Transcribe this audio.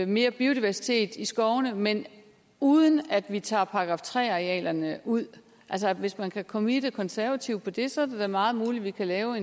mere biodiversitet i skovene men uden at vi tager § tre arealerne ud hvis man kan comitte de konservative på det så er det da meget muligt at vi kan lave